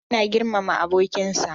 Hamza yana girmama abokinsa.